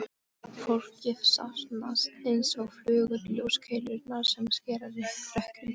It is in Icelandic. Fólkið safnast einsog flugur í ljóskeilurnar sem skera rökkrið.